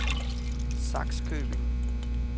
Sakskøbing